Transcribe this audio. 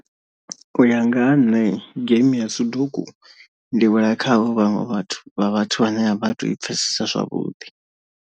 U ya nga ha nṋe game ya soduku ndi wela kha havho vhaṅwe vhathu vha vhathu vhane a vha tou i pfhesesa zwavhuḓi.